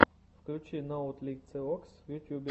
включи ноутлициокс в ютьюбе